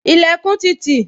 Ilẹkun ti tì